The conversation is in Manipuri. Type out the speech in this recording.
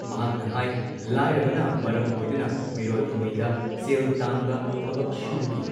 ꯃꯍꯥꯛꯅ ꯍꯥꯏ ꯂꯥꯥꯏꯔꯕꯅ ꯃꯔꯝ ꯑꯣꯏꯗꯨꯅ ꯃꯤꯔꯣꯜꯂꯤꯉꯩꯗ ꯁꯦꯜ ꯇꯥꯟꯕ ꯊꯕꯛ ꯁꯨꯕꯒꯤ